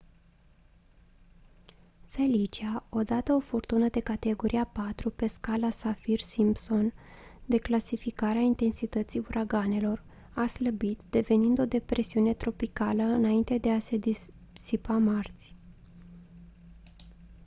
felicia odată o furtună de categoria 4 pe scara saffir-simpson de clasificare a intensității uraganelor a slăbit devenind o depresiune tropicală înainte de a se disipa marți